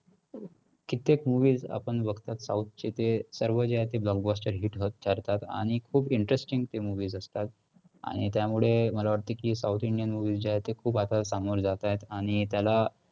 कित्येक movies आपण बघतात south चे ते सर्व जे आहे ते blockbuster, hit होत करतात आणि खूप interesting movies असतात आणि त्यामुळे मला वाटते की south indian movie जे आहे ते खूप असं सामोरे जात आहेत, आणि त्याला